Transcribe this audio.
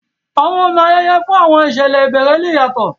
Àwọn ọ̀nà ayẹyẹ fún àwọn ìṣẹ̀lẹ̀ ìbẹ̀rẹ̀ le yàtọ̀